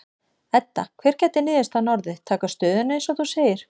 Edda: Hver gæti niðurstaðan orðið, taka stöðuna eins og þú segir?